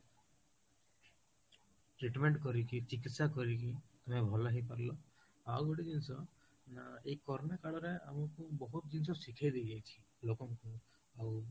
treatment କରିକି ଚିକିତ୍ସା କରିକି, ତମେ ଭଲ ହେଇ ପାରିଲା ଆଉ ଗୋଟେ ଜିନିଷ ନା ଏଇ corona କାଳ ରେ ଆମକୁ ବହୁତ ଜିନିଷ ଶିଖେଇ ଦେଇ ଯାଇଛି ଲୋକଙ୍କୁ ଆଉ